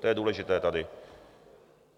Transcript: To je důležité tady.